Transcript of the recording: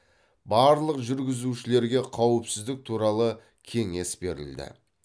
барлық жүргізушілерге қауіпсіздік туралы кеңес берілді